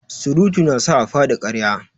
Surutu na sa a faɗi ƙarya.